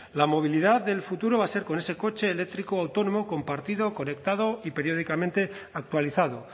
la movilidad del futuro va a ser con ese coche eléctrico autónomo compartido conectado y periódicamente actualizado